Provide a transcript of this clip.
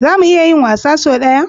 Za mu iya yin wasan sau ɗaya?